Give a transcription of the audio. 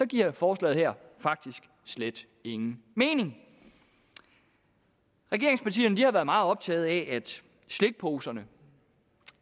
giver forslaget her faktisk slet ingen mening regeringspartierne har været meget optaget af at slikposerne